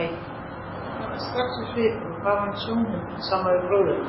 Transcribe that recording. Hann kannaðist strax við svipinn og bar hana í sjónhending saman við bróður hennar.